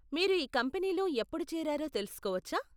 మీరు ఈ కంపెనీలో ఎప్పుడు చేరారో తెలుసుకోవచ్చా?